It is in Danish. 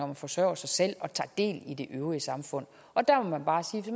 man forsørger sig selv og tager del i det øvrige samfund der må man bare sige